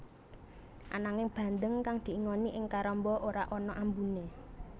Ananging bandeng kang diingoni ing karamba ora ana ambuné